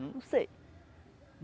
Não sei.